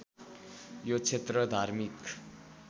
यो क्षेत्र धार्मिक